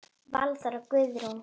Valþór og Guðrún.